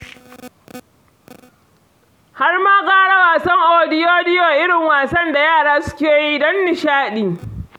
Har ma gara wasan odiyodiyo, irin wasan da yara suke yi don nishaɗi.